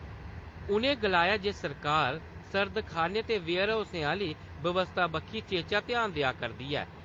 उ'नें गलाया जे सरकार, सर्दखाने ते वेयरहाउसें आह्‌ली बवस्था बक्खी चेचा ध्यान देआ करदी ऐ।